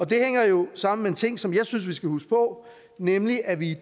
det hænger jo sammen med en ting som jeg synes vi skal huske på nemlig at vi i